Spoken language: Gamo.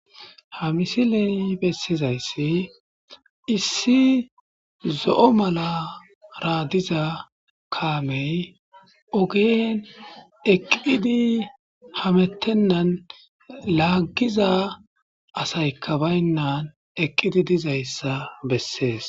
Ha misille besizaysi issi zoo' malara diza kaamey ogen eqqidi hametenan laagiza assaykka baynayssa besses.